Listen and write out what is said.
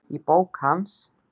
Í bók hans